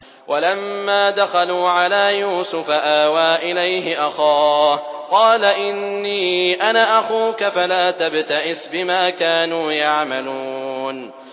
وَلَمَّا دَخَلُوا عَلَىٰ يُوسُفَ آوَىٰ إِلَيْهِ أَخَاهُ ۖ قَالَ إِنِّي أَنَا أَخُوكَ فَلَا تَبْتَئِسْ بِمَا كَانُوا يَعْمَلُونَ